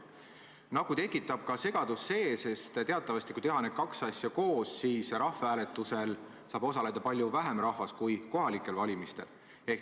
Nagu tekitab segadust ka see, et kui teha need kaks asja koos, siis tuleb arvestada, et rahvahääletusel saab osaleda palju vähem rahvast kui kohalikel valimistel.